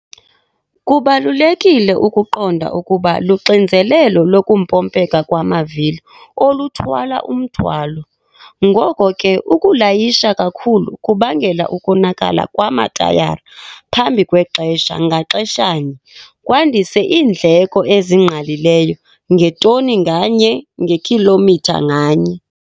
Kubalulekile ukuqonda ukuba luxinzelelo lokumpompeka kwamavili oluthwala umthwalo. Ngoko ke ukulayisha kakhulu kubangela ukonakala kwamatayara phambi kwexesha ngaxeshanye kwandise iindleko ezingqalileyo ngetoni nganye ngekhilomitha nganye.